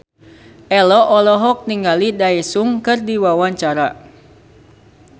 Ello olohok ningali Daesung keur diwawancara